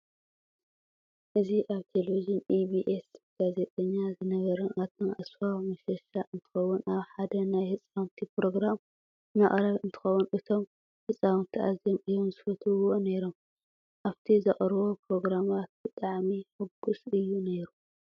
እዚ ኣብ ቴሌቭዥን EBS ጋዜጠኛ ዝነበረ ኣቶ ኣስፋው መሸሻ እንትኾውን ኣብ ሓደ ናይ ህፃውንቲ ፕሮግራም መቅረቢ እንትኸውን እቶም ህፃውንቲ ኣዝዮም እዮም ዝፈትውዎ ነይሮም። ኣብቲ ዘቅርቦም ፕሮግራማት ብጣዕሚ ሕጉስ እዩ ነይሩ።